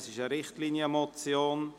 Es ist eine Richtlinienmotion.